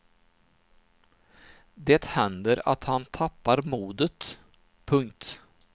Det händer att han tappar modet. punkt